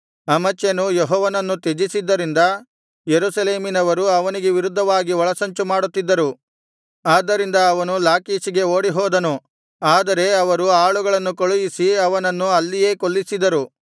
ಅಮಚ್ಯನು ಯೆಹೋವನನ್ನು ತ್ಯಜಿಸಿದ್ದರಿಂದ ಯೆರೂಸಲೇಮಿನವರು ಅವನಿಗೆ ವಿರುದ್ಧವಾಗಿ ಒಳಸಂಚು ಮಾಡುತ್ತಿದ್ದರು ಆದ್ದರಿಂದ ಅವನು ಲಾಕೀಷಿಗೆ ಓಡಿಹೋದನು ಆದರೆ ಅವರು ಆಳುಗಳನ್ನು ಕಳುಹಿಸಿ ಅವನನ್ನು ಅಲ್ಲಿಯೇ ಕೊಲ್ಲಿಸಿದರು